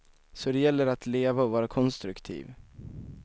Så det gäller att leva och vara konstruktiv.